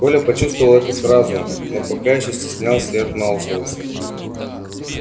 коля почувствовал это сразу но пока ещё стеснялся и отмалчивался